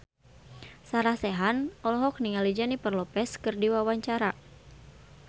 Sarah Sechan olohok ningali Jennifer Lopez keur diwawancara